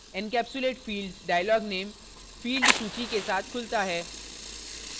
encapsulate fields dialog name field सूची के साथ खुलता है